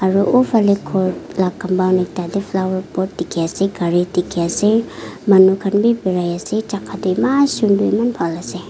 aru uphale ghor la compound ekta te flowerpot dikhi ase gari dikhi ase manu khan bi birai ase jaka toh eman sunder eman bal ase.